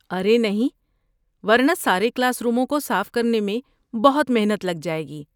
ارے نہیں! ورنہ سارے کلاس روموں کو صاف کرنے میں بہت محنت لگ جائے گی!